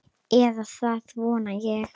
Eða það vona ég,